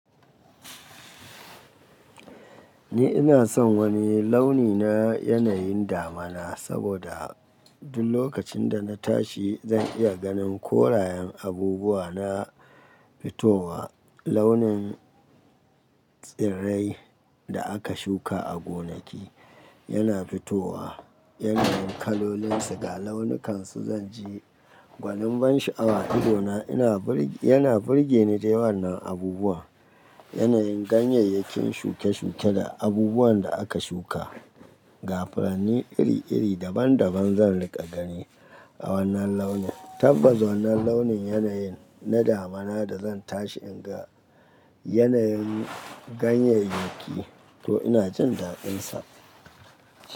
Ni ina son wani launi na yanayin damina saboda duk lokacin da na tashi zan iya ganin korayen abubuwa na fitowa. Launin tsirrai da aka shuka a gonaki yana fitowa, yanayin kalolin su ga launukansu zan ji gwanin ban sha'awa idona yana burge ni da wannan abubuwa. Yanayin ganyayyakin shuke-shuke da abubuwan da aka shuka, ga furanni iri-iri daban-daban zan riƙa gani a wannan launin. Tabbas wannan launin yanayin na damana da zan tashi in ga yanayin ganyeyyakin to ina jin dadin sa.